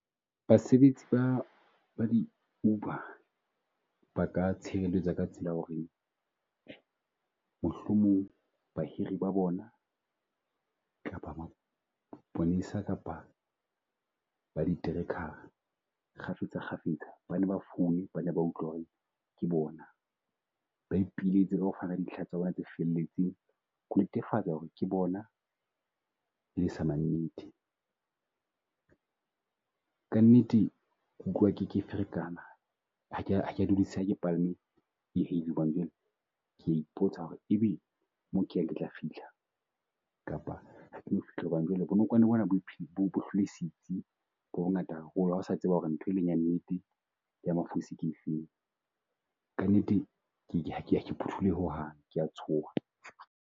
Basebetsi ba ba di Uber ba ka tshireletsa ka tsela ya ho re mohlomong bahiri ba bona kapa maponesa kapa ba di tracker-a kgafetsa kgafetsa, ba nne ba foune ba nne ba utlwe ho re ke bona ba ipiletse ho fumana dintlha tsa bona tse felletseng ho netefatsa ho re ke bona e le samannete. Ka nnete utlwa ke ke ferekana ha ke a ha ke a dudisehe ha ke palame hobane jwale ke ya ipotsa ho re e be mo ke yang ke tla fihla, kapa ha ke no fihla hobane jwale bonokwane bo na bo , bo hlwele setsi bo bongata haholo. Ha o sa tseba ho re nthwe leng ya nnete ya mafosi ke e feng. Ka nnete, ke ke ho hang ke ya tshoha.